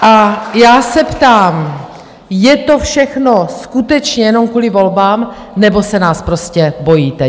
A já se ptám, je to všechno skutečně jenom kvůli volbám, nebo se nás prostě bojíte?